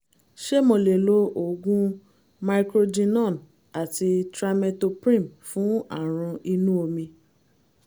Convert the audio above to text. ṣé mo lè lo oògùn microgynon àti trimethoprim fún àrùn inú omi?